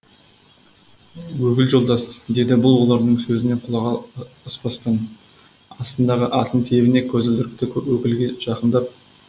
өкіл жолдас деді бұл олардың сөзіне құлақ аспастан астындағы атын тебіне көзілдірікті өкілге жақындап